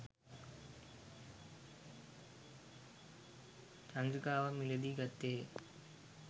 චන්ද්‍රිකාවක් මිලදී ගත්තේය.